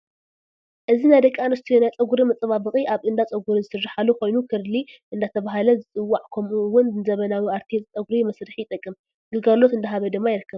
እዚ ናይ ደቂ ኣንስትዮ ናይ ፀግሪ መፃባበቂ ኣብ እዳፀግሪ ዝስራሓሉ ኮይኑ ክርሊ እዳተበሃለ ዝፅዋዕ ከምኡ እውን ንዘመናዊ ኣርትየ ፀግሪ መስርሕ ይጠቅም ግልጋሎት እዳሃበ ድማ ይርከብ